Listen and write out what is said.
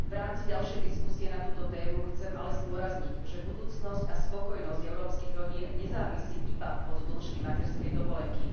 V rámci ďalšej diskusie na túto tému chcem ale zdôrazniť, že budúcnosť a spokojnosť európskych rodín nezávisí iba od dĺžky materskej dovolenky.